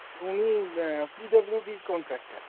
তো উনি অ্যাঁ PWD র contractor ।